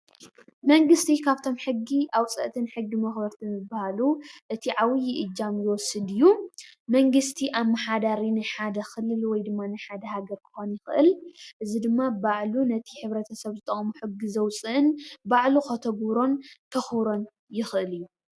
መንግስቲ ካብ'ቶም ሕጊ ኣውፃእትን ሕጊ መክበርትን ዝበሃሉ እቲ ዓብዩ እጃም ዝወስድ እዩ። መንግስቲ ኣማሕዳሪ ናይ ሓደ ክልል ወይ ድማ ናይ ሓደ ሃገር ክኮን ይክእል። እዚ ድማ ባዕሉ ነቲ ሕብረት-ሰብ ዝጠቅሞ ሕጊ ዘውፅእን ባዕሉ ከተግብሮን ከክብሮን ይክእል እዩ።